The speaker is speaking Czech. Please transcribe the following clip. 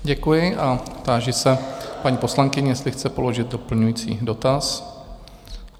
Děkuji a táži se paní poslankyně, jestli chce položit doplňující dotaz?